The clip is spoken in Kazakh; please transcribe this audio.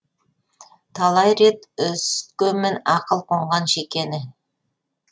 талай рет үсіткенмін ақыл қонған шекені